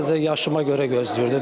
Sadəcə yaşıma görə gözləyirdim.